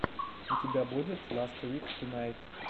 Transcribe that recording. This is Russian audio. у тебя будет ласт вик тунайт